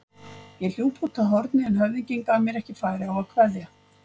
Ég hljóp út að horni en höfðinginn gaf mér ekki færi á að kveðja.